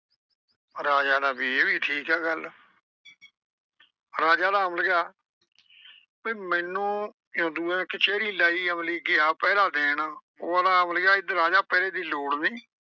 ਰਾਜਾ ਆਂਹਦਾ ਵੀ ਇਹ ਠੀਕ ਆ ਗੱਲ ਰਾਜਾ ਆਂਹਦਾ ਅਮਲੀਆ ਬਈ ਮੈਨੂੰ ਜਦੋਂ ਦੂਏ ਦਿਨ ਕਚਹਿਰੀ ਲਾਈ ਅਮਲੀ ਗਿਆ ਪਹਿਰਾ ਦੇਣ। ਉਹ ਆਂਹਦਾ ਅਮਲੀਆ ਇਧਰ ਆ ਜਾ ਪਹਿਰੇ ਦੀ ਲੋੜ ਨਈਂ।